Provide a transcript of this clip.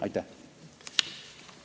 Aitäh!